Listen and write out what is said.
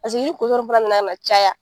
Pasiki ni kotɔn fana nana na caya